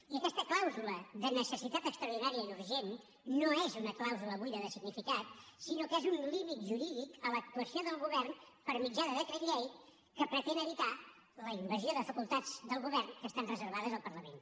i aquesta clàusula de necessitat extraordinària i urgent no és una clàusula buida de significat sinó que és un límit jurídic a l’actuació del govern per mitjà de decret llei que pretén evitar la invasió de facultats del govern que estan reservades al parlament